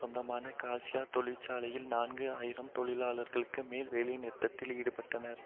சொந்தமான காசியோ தொழிற்சாலையில் நான்கு ஆயிரம் தொழிலாளர்களுக்கு மேல் வேலைநிறுத்தத்தில் ஈடுபட்டனர்